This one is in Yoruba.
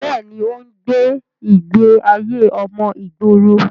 bẹ́ẹ̀ni, ó ń gbé ìgbé ayé ọmọ ìgboro